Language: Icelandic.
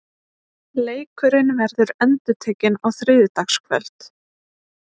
Leikurinn verður endurtekinn á þriðjudagskvöld.